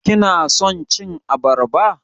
Kina son cin abarba?